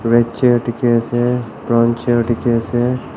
red chair dikhi ase brown chair dikhi ase.